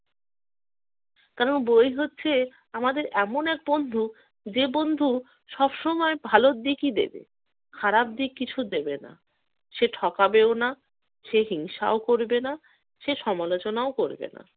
কারণ বই হচ্ছে আমাদের এমন এক বন্ধু যে বন্ধু সবসময় ভালোর দিকই দেবে। খারাপ দিক কিছু দেবে না। সে ঠকাবেও না, সে হিংসাও করবে না, সে সমালোচনাও করবে না।